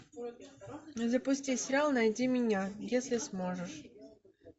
запусти сериал найди меня если сможешь